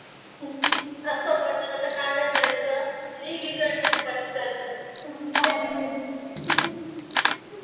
असं म्हंटल तर, का नाई जायचं? निघ इकडन पटकन.